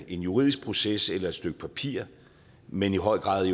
en juridisk proces eller et stykke papir men i høj grad